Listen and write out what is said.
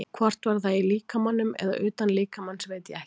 Hvort það var í líkamanum eða utan líkamans veit ég ekki.